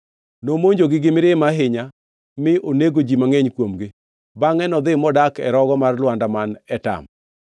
Nomonjogi gi mirima ahinya mi onego ji mangʼeny kuomgi. Bangʼe nodhi modak e rogo mar lwanda man Etam.